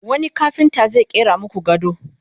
wani kafinta zai ƙera maku gado?